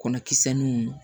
Kɔnɔ kisɛ nun